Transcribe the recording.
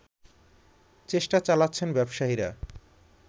চেষ্টা চালাচ্ছেন ব্যবসায়ীরা